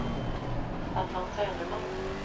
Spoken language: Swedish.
Staffan Söderman